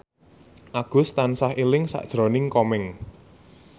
Agus tansah eling sakjroning Komeng